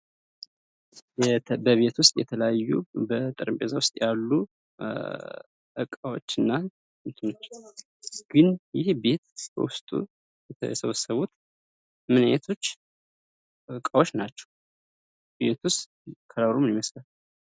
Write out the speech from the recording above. በቤት ውስጥ የተለያዩ በጠረጴዛ ውስጥ ያሉ እቃዎች እና ግን ይሄ ቤት በውስጡ የሰበሰቡት ምን አይነቶች እቃዎች ናቸው? ቤቱስ ከለሩ ምን ይመስላል?